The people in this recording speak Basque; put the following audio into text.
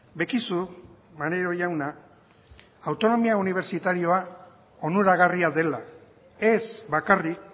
bekizu maneiro jauna autonomia unibertsitarioa onuragarria dela ez bakarrik